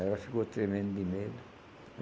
Ela ficou tremendo de medo.